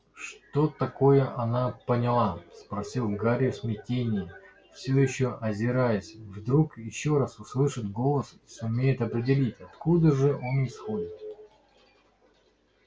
что такое она поняла спросил гарри в смятении все ещё озираясь вдруг ещё раз услышит голос и сумеет определить откуда же он исходит